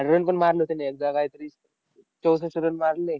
आणि run पण मारले होते त्याने एकदा कायतरी. चौसष्ठ run मारले.